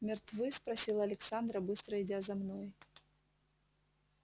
мертвы спросила александра быстро идя за мной